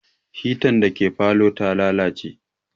Hitan da ke falow ta lalace